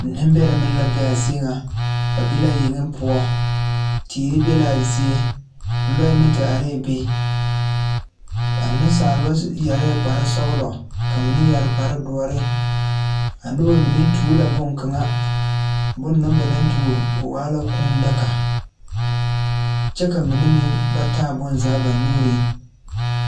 Neŋbɛrɛ mine la be a zie ŋa ba be la yeŋe poɔ teere be laa zie lɔɛ meŋ te arɛɛ be a neŋsalba yɛrɛɛ kparesɔglɔ ka mine yɛre kparedoɔre a nobɔ mine tuo la bonkaŋa bon na ba naŋ tuo o waa nyɛ kūū daga kyɛ ka mine meŋ ba taa bonzaa ba nuuriŋ.